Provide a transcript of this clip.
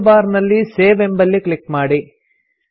tool bar ನಲ್ಲಿ save ಎಂಬಲ್ಲಿ click ಮಾಡಿ